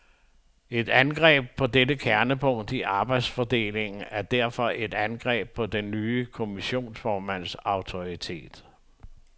Et angreb på dette kernepunkt i arbejdsfordelingen er derfor et angreb på den nye kommissionsformands autoritet.